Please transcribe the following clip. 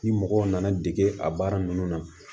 Ni mɔgɔw nana dege a baara ninnu na